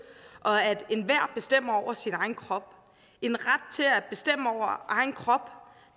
og at enhver bestemmer over sin egen krop en ret til at bestemme over egen krop